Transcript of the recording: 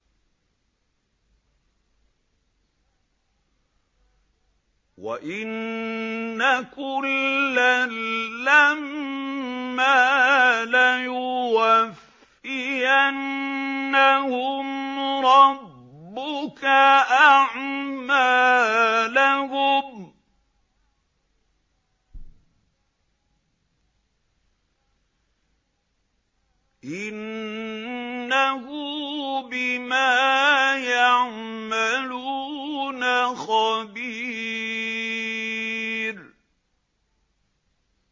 وَإِنَّ كُلًّا لَّمَّا لَيُوَفِّيَنَّهُمْ رَبُّكَ أَعْمَالَهُمْ ۚ إِنَّهُ بِمَا يَعْمَلُونَ خَبِيرٌ